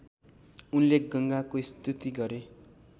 उनले गङ्गाको स्तुति गरे